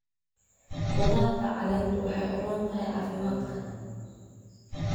Khudaarta caleentu waxay u roon tahay caafimaadka.